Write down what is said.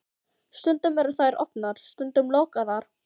Stundum eru þær opnar, stundum lokaðar.